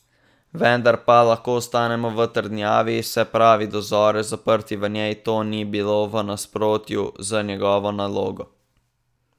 Vendar pa lahko ostanemo v trdnjavi, se pravi do zore zaprti v njej, to ni bilo v nasprotju z njegovo nalogo.